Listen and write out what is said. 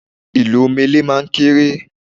Ì̀lù omele máa ń kéré